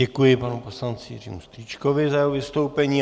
Děkuji panu poslanci Jiřímu Strýčkovi za jeho vystoupení.